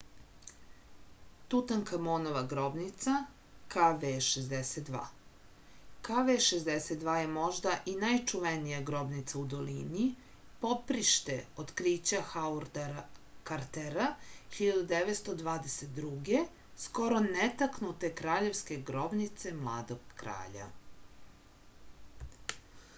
тутанкамонова гробница kv62. kv62 је можда и најчувенија гробница у долини поприште открића хауарда картера 1922. скоро нетакнуте краљевске гробнице младог краља